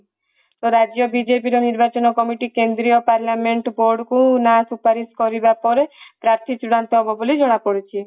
ରାଜ୍ୟ ବିଜେପି ର ନିର୍ବାଚନ କମିଟି କେନ୍ଦ୍ରୀୟ ପାର୍ଲାମେଣ୍ଟ ବୋଡକୁ ନାଁ ସୁପାରିସ କରିବା ପରେ ପାର୍ଥୀ ଚୁଡାନ୍ତ ହେବ ବୋଲି ଜଣା ପଡିଛି